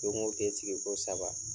Jɔnko te sigi ko saba.